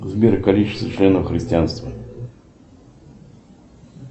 сбер количество членов христианства